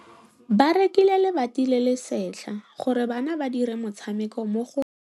Ba rekile lebati le le setlha gore bana ba dire motshameko mo go lona.